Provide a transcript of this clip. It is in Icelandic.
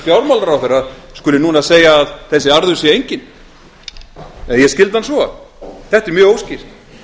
fjármálaráðherra skuli núna segja að þessi arður sé enginn eða ég skildi hann svo þetta er mjög óskýrt